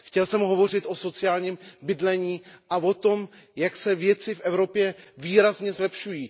Chtěl jsem hovořit o sociálním bydlení a o tom, jak se věci v Evropě výrazně zlepšují.